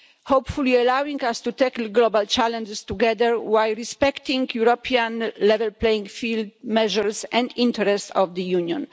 hopefully allowing us to tackle global challenges together while respecting European level playing field measures and the interests of the Union.